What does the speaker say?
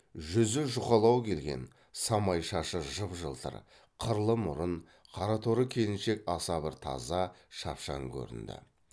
жүзі жұқалау келген самай шашы жып жылтыр қырлы мұрын қара торы келіншек аса бір таза шапшаң көрінді